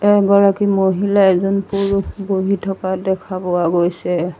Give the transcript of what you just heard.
এগৰাকী মহিলা এজন পুৰুষ বহি থকা দেখা পোৱা গৈছে।